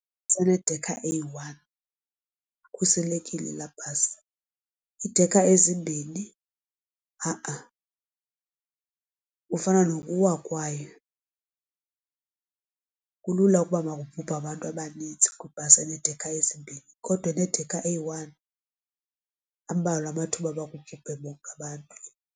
enedekha eyi-one ikhuselekile, laa bhasi. Iidekha ezimbini ha-a, kufana nokuwa kwayo kulula ukuba makubhubhe abantu abanintsi kwibhasi enedekha ezimbini kodwa enedekha eyi-one ambalwa amathuba oba kubhubhe bonke abantu.